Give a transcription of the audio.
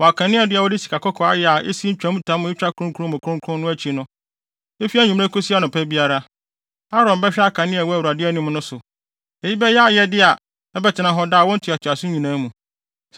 Wɔ kaneadua a wɔde sikakɔkɔɔ ayɛ a esi ntwamtam a etwa kronkron mu kronkron no akyi no. Efi anwummere kosi anɔpa biara, Aaron bɛhwɛ akanea a ɛwɔ Awurade anim no so. Eyi bɛyɛ ayɛde a ɛbɛtena hɔ daa wɔ awo ntoatoaso nyinaa mu.